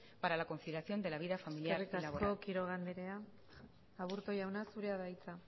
para la conciliación de la vida familiar y laboral eskerrik asko quiroga andrea aburto jauna zurea da hitza